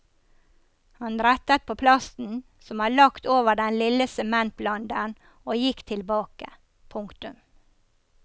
Han rettet på plasten som var lagt over den lille sementblanderen og gikk tilbake. punktum